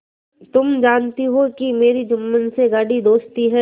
तुम जानती हो कि मेरी जुम्मन से गाढ़ी दोस्ती है